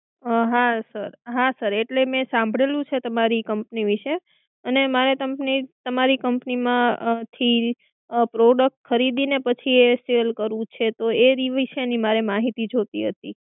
હા sir હા sir એટલે મે સાંભળેલું છે તમારી Company વિશે અને મારે તમારી Company માંથી Product ખરીદીને પછી એ sell કરવું છે તો એ વિશેની મારે માહિતી જોઈતી હતી.